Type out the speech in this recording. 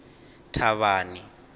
thavhani